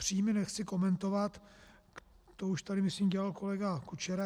Příjmy nechci komentovat, to už tady, myslím, dělal kolega Kučera.